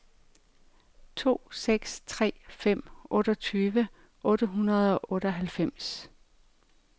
to seks tre fem otteogtyve otte hundrede og otteoghalvfems